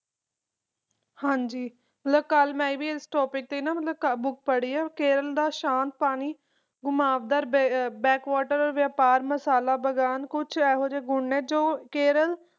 ਹਾਂ, ਕੱਲ੍ਹ ਮੈਂ ਇਸ topic 'ਤੇ ਇੱਕ ਕਿਤਾਬ ਵੀ ਪੜ੍ਹੀ ਹੈ ਅਤੇ ਕੇਰਲਾ ਦੇ ਸ਼ਾਂਤ ਪਾਣੀ ਨੂੰ ਕਰਵ ਕੀਤਾ ਹੈ। ਬੈਕਵਾਟਰ ਬਿਜ਼ਨਸ ਸਪਾਈਸ ਪਲਾਂਟੇਸ਼ਨ ਉਹ ਚੀਜ਼ ਹੈ ਜੋ ਮੈਂ ਕੇਰਲ ਨੂੰ ਦਿੰਦਾ ਹਾਂ